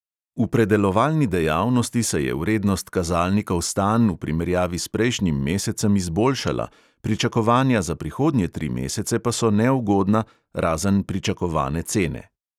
V predelovalni dejavnosti se je vrednost kazalnikov stanj v primerjavi s prejšnjim mesecem izboljšala, pričakovanja za prihodnje tri mesece pa so neugodna, razen pričakovane cene.